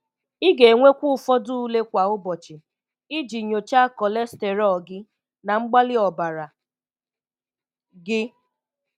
Ị̀ ga-enwèkwa ụfọdụ̀ ulè kwa ụbọchị̀, iji nyochaa cholesterol gị na mgbàlì ọ̀barà gị.